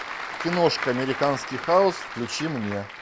киношка американский хаус включи мне